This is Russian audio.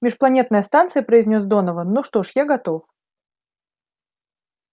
межпланетная станция произнёс донован ну что ж я готов